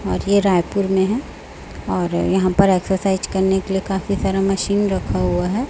और ये रायपुर में है और यहां पर एक्सरसाइज करने के लिए काफी सारा मशीन रखा हुआ है।